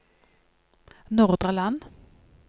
Nordre Land